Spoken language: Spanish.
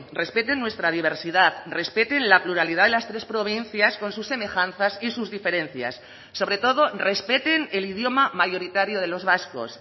respeten nuestra diversidad respeten la pluralidad de las tres provincias con sus semejanzas y sus diferencias sobre todo respeten el idioma mayoritario de los vascos